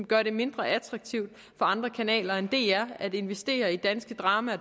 gøre det mindre attraktivt for andre kanaler end dr at investere i danske drama og